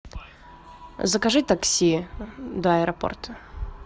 закажи такси до аэропорта